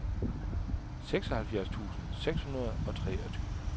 seksoghalvfjerds tusind seks hundrede og treogtyve